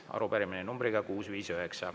Arupärimine numbriga 659.